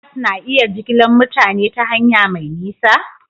Bas na iya jigilar mutane ta hanya mai nisa?